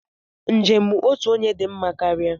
Njem otu onye dị mma karịa.